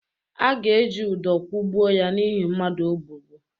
A ga-eji udọ kwụgbuo ya n’ihi mmadụ o gbugbu.